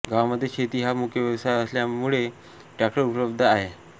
गावामध्ये शेती हा मुख्य व्यवसाय असल्यामुले ट्रॅक्टर उपलब्ध आहेत